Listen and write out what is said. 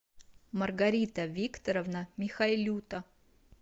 маргарита викторовна михайлюта